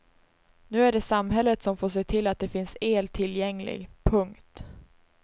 Nu är det samhället som får se till att det finns el tillgänglig. punkt